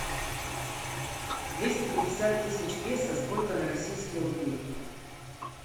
двести пятьдесят тысяч песо сколько на российские рубли